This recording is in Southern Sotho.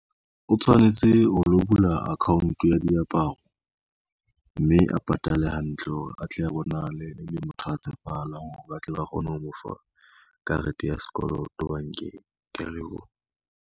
O tshwanetse ho lo bula account ya diaparo, mme a patale hantle hore atle a bonahale e le motho ya tshepahalang hore ba tle ba kgone ho mo fa karete ya sekoloto bankeng, kea leboha.